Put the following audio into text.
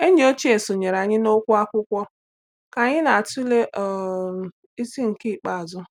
Enyi ochie sonyere anyị n’okwu akwụkwọ ka anyị na-atụle um isi nke ikpeazụ.